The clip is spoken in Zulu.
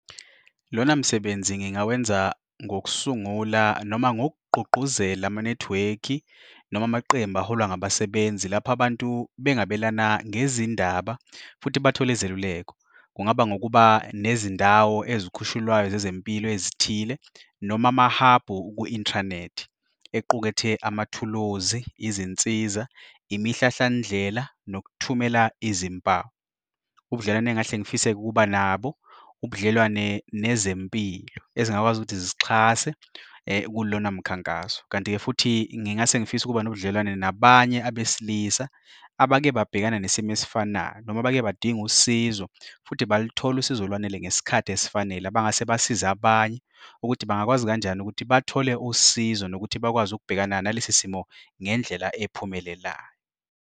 Lona msebenzi ngingawenza ngokusungula noma ngokugqugquzela amanethiwekhi noma amaqembu aholwa ngabasebenzi lapho abantu bengabelana ngezindaba futhi bathole izeluleko. Kungaba ngokuba nezindawo ezikhushululwayo zezempilo ezithile noma mahabho kwi-inthanethi equkethe amathuluzi, izinsiza, imihlahlandlela nokuthumela izimpawu. Ubudlelwane engingahle ngifise ukuba nabo, ubudlelwane nezempilo ezingakwazi ukuthi zisixhase kulona mkhankaso. Kanti-ke futhi ngingase ngifisa ukuba nobudlelwane nabanye abesilisa abake babhekana nesimo esifanayo noma abake bedinga usizo futhi balutholo usizo olwanele ngesikhathi esifanele, abangase basize abanye ukuthi bangakwazi kanjani ukuthi bathole usizo nokuthi bakwazi ukubhekana nalesi simo ngendlela ephumelelayo.